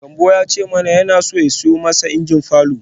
Gambo ya ce mana yana so ya siyo masa injin falor.